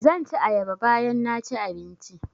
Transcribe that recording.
Zan ci ayaba bayan naci abinci